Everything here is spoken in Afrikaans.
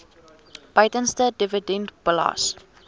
buitelandse dividend belas